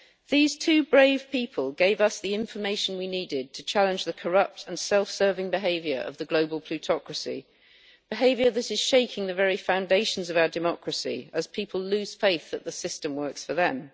These two brave people gave us the information we needed to challenge the corrupt and self serving behaviour of the global plutocracy, behaviour that is shaking the very foundations of our democracy as people lose faith that the system works for them.